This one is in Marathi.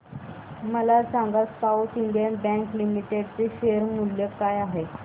मला सांगा साऊथ इंडियन बँक लिमिटेड चे शेअर मूल्य काय आहे